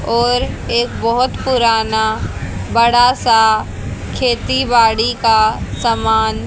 और एक बहोत पुराना बड़ा सा खेती बाड़ी का सामान--